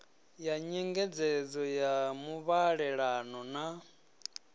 ya nyengedzedzo ya muvhalelano na